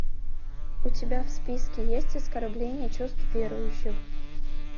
у тебя в списке есть оскорбление чувств верующих